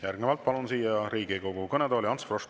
Järgnevalt palun siia Riigikogu kõnetooli Ants Froschi.